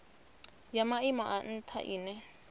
ya maimo a ntha ine